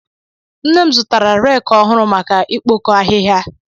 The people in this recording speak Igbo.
Nne m zụtara rek ọhụụ maka ikpokọ ahịhịa.